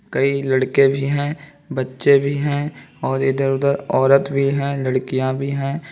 कई लड़के भी हैं बच्चे भी हैं और इधर उधर औरत भी हैं लड़कियां भी हैं।